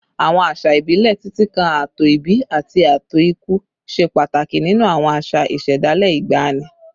Àwọn àṣà ìbílẹ̀, títí kan ààtò ìbí àti ààtò ikú, ṣe pàtàkì nínú àwọn àṣà ìṣẹ̀dálẹ̀ ìgbàanì